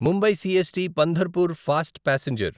Mumbai CST Pandharpur fast passenger